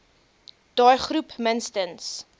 daai groep minstens